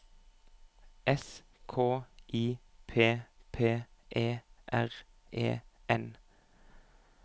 S K I P P E R E N